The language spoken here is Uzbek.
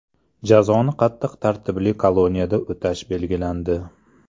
Jazoni qattiq tartibli koloniyada o‘tashi belgilandi.